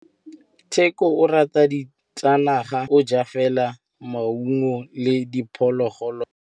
Tshekô o rata ditsanaga ka gore o ja fela maungo le diphologolo tsa naga.